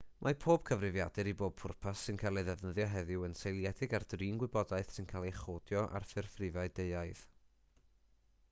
mae pob cyfrifiadur i bob pwrpas sy'n cael ei ddefnyddio heddiw yn seiliedig ar drin gwybodaeth sy'n cael ei chodio ar ffurf rhifau deuaidd